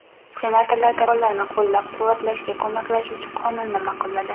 Senatorlar tadbirkorlarni qo‘llab-quvvatlashga ko‘maklashuvchi qonunni ma’qulladi.